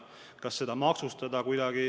Kas seda tuleks kuidagi maksustada?